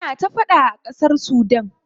Ana ta faɗa a ƙasar Sudan.